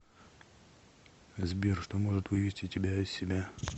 сбер что может вывести тебя из себя